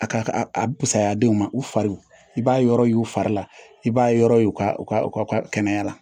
A ka a asayaadenw ma u fariw i b'a yɔrɔ y'u fari la i b'a yɔrɔ ye u ka u ka u ka kɛnɛya la